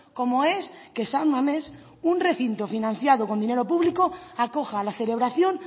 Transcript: como es que san mamés un recinto financiado con dinero público acoja la celebración